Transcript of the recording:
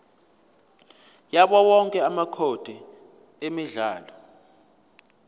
yawowonke amacode emidlalo